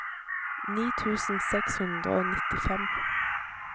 ni tusen seks hundre og nittifem